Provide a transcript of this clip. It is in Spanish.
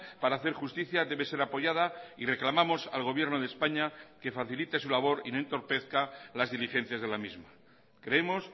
para hacer justicia debe ser apoyada y reclamamos al gobierno de españa que facilite su labor y no entorpezca las diligencias de la misma creemos